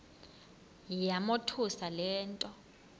yamothusa le nto